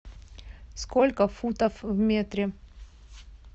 сколько футов в метре